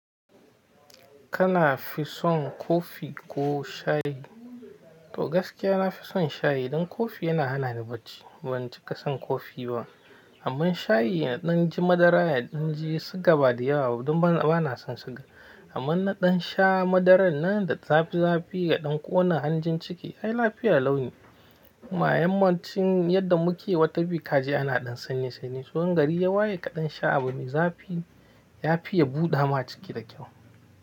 Kana fi son kofi ko shayi? To gaskiya na fi son shayi, dan kofi yana hana ni bacci. Ban cika son kofi ba, amma shayi ya dan ji madara ya dan ji siga ba da yawa. Dan bana son siga, amma na dan sha madarar nan da zafi zafi ya dan ƙona hanjin ciki. Ai lafiya launi. Kuma yammacin yadda muke yi watan biyu kaji ana ɗan sanyi sanyi. Zuwan gari yawa ya kaɗan sha abu mai zafi ya fi ya buɗa ma ciki da kyau.